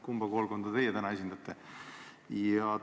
Kumba koolkonda teie täna esindate?